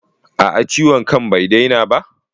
A'a ciwon kan bai daina ba?